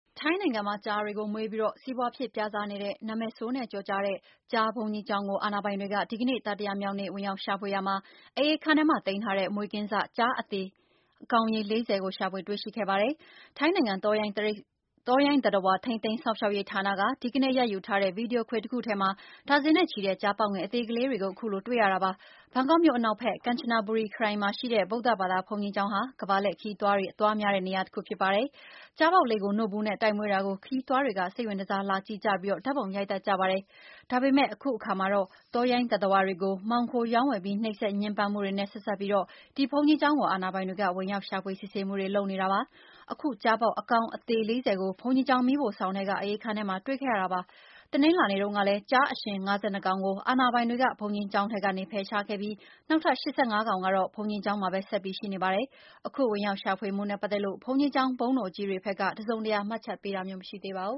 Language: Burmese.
ထိုင်းနိုင်ငံမှာ ကျားတွေကိုမွေးပြီး စီးပွားဖြစ် ပြစားနေတဲ့၊ နာမည်ဆိုးနဲ့ကျော်ကြားတဲ့ ကျား ဘုန်းကြီးကျောင်းကို အာဏာပိုင်တွေက ဒီကနေ့ တတိယမြောက်နေ့ ဝင်ရောက်ရှာဖွေရာမှာ အအေးခန်းထဲမှာ သိမ်းထားတဲ့ မွေးကင်းစ ကျားအသေ ကောင်ရေ ၄၀ ကို ရှာဖွေတွေ့ရှိခဲ့ပါတယ်။ ထိုင်းနိုင်ငံ တောရိုင်းသတ္တဝါ ထိန်းသိမ်းစောင့်ရှောက်ရေးဌာနက ဒီကနေ့ ရိုက်ယူထားတဲ့ ဗီဒီယိုခွေတခုထဲမှာ ဒါဇင်နဲ့ချီတဲ့ ကျားပေါက်ငယ် အသေလေးတွေကို အခုလို တွေ့ရတာပါ။ ဘန်ကောက်မြို့ အနောက်ဘက် ကန်ချနဘူရီ ခရိုင်မှာရှိတဲ့ ဗုဒ္ဓဘာသာ ဒီ ဘုန်းကြီးကျောင်းဟာ ကမ္ဘာလှည့်ခရီးသွားတွေ အလာများနေရာတခုပါ။ ကျားပေါက်လေးတွေကို နို့ဘူးနဲ့တိုက် မွေးတာကို ခရီးသွားတွေက စိတ်ဝင်တစား လာကြည့်ကြပြီး ဓာတ်ပုံရိုက်တတ်ကြပါတယ်။ ဒါပေမဲ့ အခုအခါမှာတော့ တောရိုင်းသတ္တဝါတွေကို မှောင်ခိုရောင်းဝယ်ပြီး နှိပ်စက် ညှင်းပမ်းမှု တွေနဲ့ ဆက်စပ်ပြီးတော့ ဒီဘုန်းကြီးကျောင်းကို အာဏာပိုင်တွေက ဝင်ရောက်ရှာဖွေ စစ်ဆေးမှုတွေ လုပ်နေတာပါ။ အခုကျားပေါက်အကောင် အသေ ၄၀ ကို ဘုန်းကြီးကျောင်း မီးဖိုဆောင်ထဲက အအေးခန်းထဲမှာ တွေ့ခဲ့တာပါ။ တနင်္လာနေ့တုန်းကလည်း ကျားအရှင် ၅၂ ကောင်ကို အာဏာပိုင်တွေက ဘုန်းကြီးကျောင်းထဲကနေ ဖယ်ရှားခဲ့ပြီး နောက်ထပ် ၈၅ ကောင်ကတော့ ဘုန်းကြီးကျောင်းမှာပဲ ဆက်ပြီး ရှိနေပါတယ်။ အခု ဝင်ရောက်ရှာဖွေမှုတွေနဲ့ ပတ်သက်လို့ ဘုန်းကြီးကျောင်း ဘုန်းတော်ကြီးတွေဘက် တစုံတရာ မှတ်ချက်ပေး တာ မရှိသေးပါဘူ